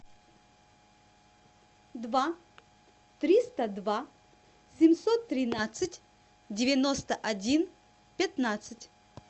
два триста два семьсот тринадцать девяносто один пятнадцать